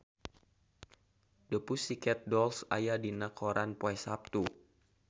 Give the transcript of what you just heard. The Pussycat Dolls aya dina koran poe Saptu